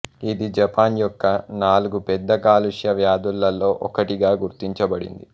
ఇది జపాన్ యొక్క నాలుగు పెద్ద కాలుష్య వ్యాధులలో ఒకటిగా గుర్తించబడింది